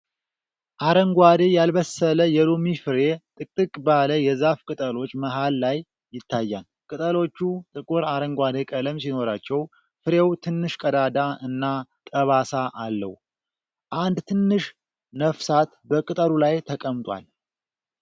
አረንጓዴ፣ ያልበሰለ የሎሚ ፍሬ ጥቅጥቅ ባለ የዛፉ ቅጠሎች መሃል ላይ ይታያል። ቅጠሎቹ ጥቁር አረንጓዴ ቀለም ሲኖራቸው፣ ፍሬው ትንሽ ቀዳዳ እና ጠባሳ አለው። አንድ ትንሽ ነፍሳት በቅጠሉ ላይ ተቀምጧል።